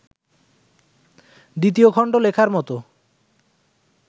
দ্বিতীয় খণ্ড লেখার মতো